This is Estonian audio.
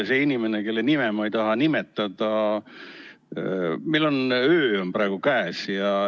See inimene, kelle nime ma ei taha nimetada: meil on öö praegu käes.